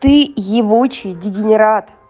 ты ебучий дегенерат